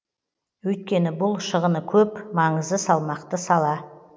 өйткені бұл шығыны көп маңызы салмақты сала